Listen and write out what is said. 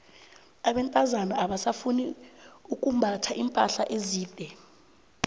abentazana abasafuni ukumbatha iimpahla ezide